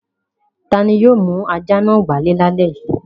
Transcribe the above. Ta ni yóò mú ajá náà wálé lálẹ́ yìí?